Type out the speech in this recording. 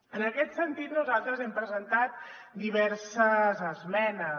en aquest sentit nosaltres hem presentat diverses esmenes